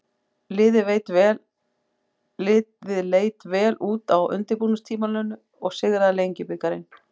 Liðið leit vel út á undirbúningstímabilinu og sigraði Lengjubikarinn.